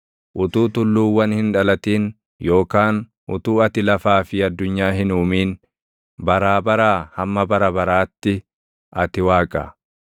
Utuu tulluuwwan hin dhalatin yookaan utuu ati lafaa fi addunyaa hin uumin, baraa baraa hamma bara baraatti ati Waaqa.